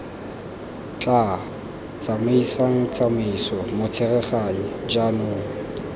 tla tsamaisang tsamaiso motsereganyi jaanong